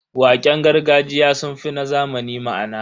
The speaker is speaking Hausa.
Waƙen gargajiya sun fi na zamani ma'ana.